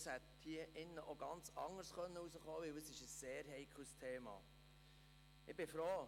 Das hätte hier drin auch ganz anders ausgehen können, weil es ein sehr heikles Thema ist.